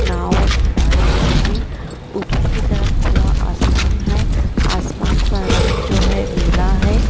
नाव खड़ायें गए हैं ऊपर की तरफ खुला आसमान है आसमान का रंग जो है नीला है।